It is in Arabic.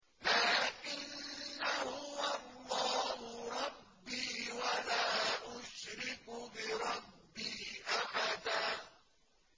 لَّٰكِنَّا هُوَ اللَّهُ رَبِّي وَلَا أُشْرِكُ بِرَبِّي أَحَدًا